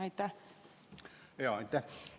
Aitäh!